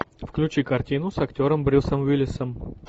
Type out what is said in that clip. включи картину с актером брюсом уиллисом